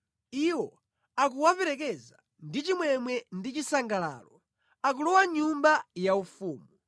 Iwo akuwaperekeza ndi chimwemwe ndi chisangalalo; akulowa mʼnyumba yaufumu.